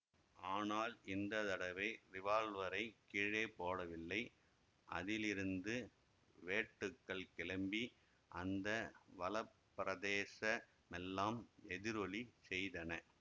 ஆனால் இந்த தடவை ரிவால்வரைக் கீழே போடவில்லை அதிலிருந்து வேட்டுக்கள் கிளம்பி அந்த வளப்பிரதேச மெல்லாம் எதிரொலி செய்தன